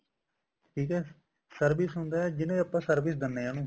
ਠੀਕ ਹੈ service ਹੁੰਦਾ ਜਿਵੇਂ ਆਪਾਂ service ਦਿੰਦੇ ਹਾਂ ਉਹਨੂੰ